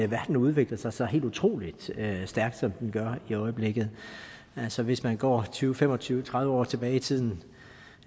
verden udvikler sig så helt utrolig stærkt som den gør i øjeblikket altså hvis man går tyve fem og tyve tredive år tilbage i tiden